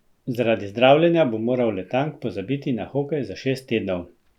Zaradi zdravljenja bo moral Letang pozabiti na hokej za šest tednov.